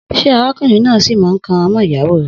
Sẹ àrákúnrìn nà sí mà ń kàn rà mọ ìyáwò rẹ?